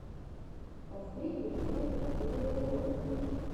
последняя часть лэйрона